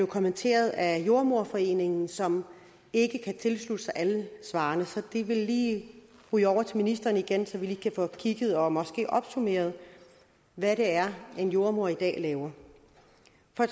kommenteret af jordemoderforeningen som ikke kan tilslutte sig alle svarene så de vil lige ryge over til ministeren igen så vi kan få kigget på dem og måske opsummeret hvad det er en jordemoder i dag laver